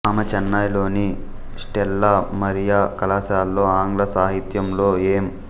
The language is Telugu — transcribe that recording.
ఆమె చెన్నైలోని స్టేల్లా మారియా కళాశాలలో ఆంగ్ల సాహిత్యంలో ఎం